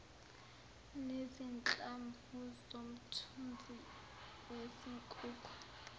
nezinhlamvu zomthunzi wezinkukhu